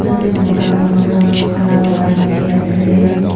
ete mota pansta khara kora dekhi ase.